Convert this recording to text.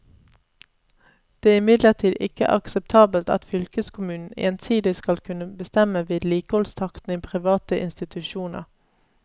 Det er imidlertid ikke akseptabelt at fylkeskommunen ensidig skal kunne bestemme vedlikeholdstakten i private institusjoner.